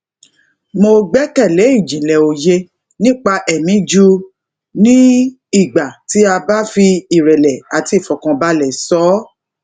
mo gbẹkẹlé ìjìnlẹ òye nípa ẹmí ju ní ìgbà tí a bá fi ìrẹlẹ àti ìfọkànbalẹ sọ ọ